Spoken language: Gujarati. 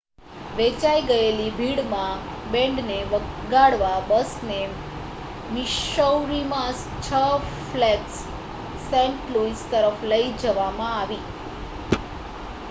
વેચાઈ ગયેલી ભીડમાં બેન્ડને વગાડવા બસને મિસૌરીમાં 6 ફ્લેગ્સ સેન્ટ લૂઇસ તરફ લઈ જવામાં આવી